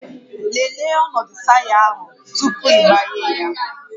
Lelee ọnọdụ taya ahụ tupu ịgbanye ya